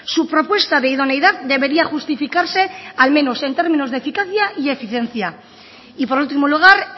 su propuesta de idoneidad debería justificarse al menos en términos de eficacia y de eficiencia y por último lugar